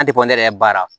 An tɛ bɔ ne yɛrɛ baara